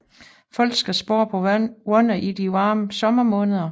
Folk skal spare på vandet i de varme sommermåneder